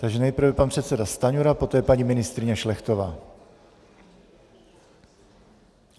Takže nejprve pan předseda Stanjura, poté paní ministryně Šlechtová.